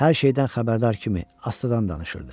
Hər şeydən xəbərdar kimi astadan danışırdı.